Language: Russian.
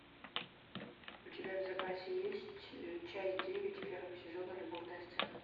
у тебя в запасе есть часть девять первого сезона любовная сцена